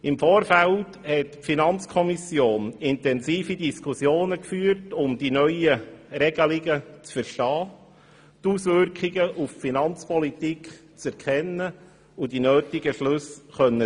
Im Vorfeld führte die FiKo intensive Diskussionen, um die neuen Regelungen zu verstehen, die Auswirkungen auf die Finanzpolitik zu erkennen und die nötigen Schlüsse daraus ziehen zu können.